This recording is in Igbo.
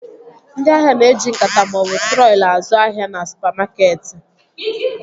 Ndị ahịa na-eji nkata maọbụ trọli azụ ahịa na supamakeetị